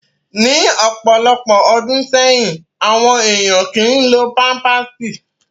Ni ọpọlọpọ ọdun sẹyin, awọn eniyan kii lo pampạsi